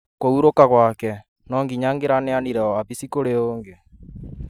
Kũhurũka gwake, no nginya angĩraneanire wabici kũrĩ ũngĩ